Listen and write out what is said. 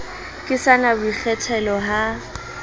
ke sa na boikgethelo ha